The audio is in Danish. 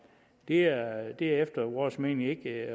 det er efter vores mening ikke